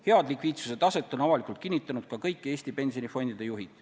Head likviidsuse taset on avalikult kinnitanud ka kõik Eesti pensionifondide juhid.